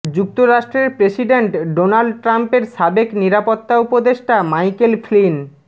যু্ক্তরাষ্ট্রের president Donald ট্রাম্পের সাবেক নিরাপত্তা উপদেষ্টা মাইকেল ফ্লিন